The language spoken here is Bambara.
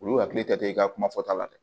Olu hakili tɛ i ka kuma fɔta la dɛ